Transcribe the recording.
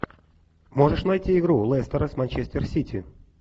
можешь найти игру лестера с манчестер сити